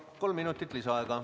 Saate kolm minutit lisaaega.